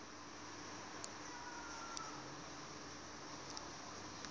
is en b